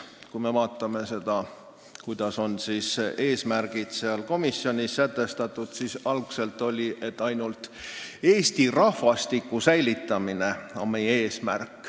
Kui me vaatame seda, kuidas olid komisjoni eesmärgid algselt sätestatud, siis neil oli, et meie eesmärk on ainult Eesti rahvastiku säilitamine.